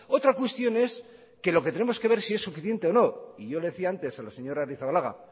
otra cuestión es que lo que tenemos que ver si es suficiente o no y yo le decía antes a la señora arrizabalaga